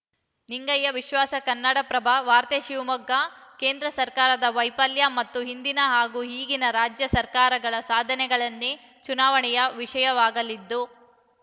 ನಿಂಗಯ್ಯ ವಿಶ್ವಾಸ ಕನ್ನಡಪ್ರಭ ವಾರ್ತೆ ಶಿವಮೊಗ್ಗ ಕೇಂದ್ರ ಸರ್ಕಾರದ ವೈಪಲ್ಯ ಮತ್ತು ಹಿಂದಿನ ಹಾಗೂ ಈಗಿನ ರಾಜ್ಯ ಸರ್ಕಾರಗಳ ಸಾಧನೆಗನ್ನೆ ಚುನಾವಣೆಯ ವಿಷಯವಾಗಲಿದ್ದು